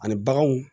Ani baganw